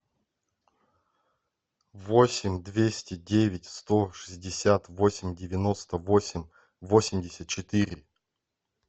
восемь двести девять сто шестьдесят восемь девяносто восемь восемьдесят четыре